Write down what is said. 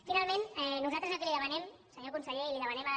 finalment nosaltres el que li demanem senyor conseller i li demanem a